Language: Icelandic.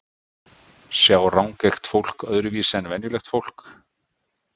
sjá rangeygt fólk öðruvísi en venjulegt fólk